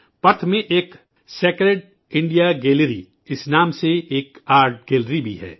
Perth میں ایک 'sacred India gallery' کے نام سے ایک آرٹ گیلری بھی ہے